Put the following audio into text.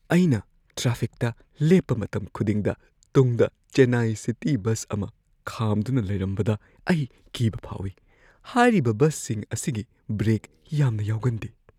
ꯑꯩꯅ ꯇ꯭ꯔꯥꯐꯤꯛꯇ ꯂꯦꯞꯄ ꯃꯇꯝ ꯈꯨꯗꯤꯡꯗ ꯇꯨꯡꯗ ꯆꯦꯟꯅꯥꯏ ꯁꯤꯇꯤ ꯕꯁ ꯑꯃ ꯈꯥꯝꯗꯨꯅ ꯂꯩꯔꯝꯕꯗ ꯑꯩ ꯀꯤꯕ ꯐꯥꯎꯏ꯫ ꯍꯥꯏꯔꯤꯕ ꯕꯁꯁꯤꯡ ꯑꯁꯤꯒꯤ ꯕ꯭ꯔꯦꯛ ꯌꯥꯝꯅ ꯌꯥꯎꯒꯟꯗꯦ꯫